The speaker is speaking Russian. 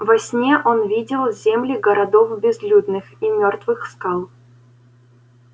во сне он видел земли городов безлюдных и мёртвых скал